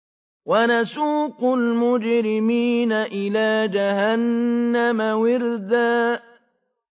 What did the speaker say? وَنَسُوقُ الْمُجْرِمِينَ إِلَىٰ جَهَنَّمَ وِرْدًا